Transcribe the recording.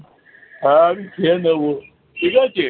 হ্যাঁ আমি খেয়ে নেবো। ঠিক আছে